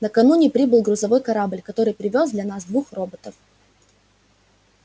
накануне прибыл грузовой корабль который привёз для нас двух роботов